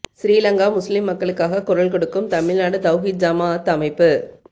Sri Lanka Muslim மக்களுக்காக குரல் கொடுக்கும் தமிழ்நாடு தௌஹீத் ஜமாஅத் அமைப்பு